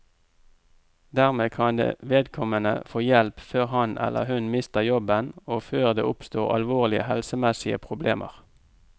Dermed kan vedkommende få hjelp før han, eller hun, mister jobben og før det oppstår alvorlige helsemessige problemer.